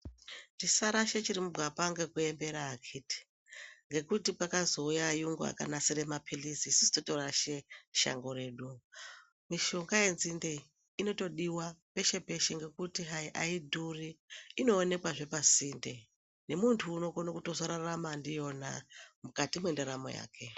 Tisarashe chirimugwapa ngekuembera akiti. Ngekuti kwakazouye ayungu akanasire maphilizi isusu totorashe shango redu. Mishonga yenzinde iyi inotodiwa peshe-peshe ngekuti hayi aidhuri, inoonekwazve pasinde. Nemuntu unokone kutozorarama ndiyona mukati mwendaramo yake.